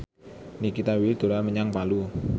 Nikita Willy dolan menyang Palu